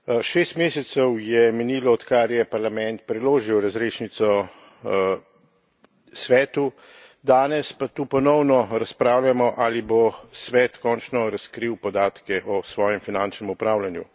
Šest mesecev je minilo, odkar je Parlament preložil razrešnico Svetu, danes pa tu ponovno razpravljamo, ali bo Svet končno razkril podatke o svojem finančnem upravljanju.